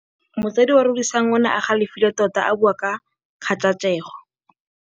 Motsadi wa Rorisang o ne a galefile tota a bua ka kgajajegô.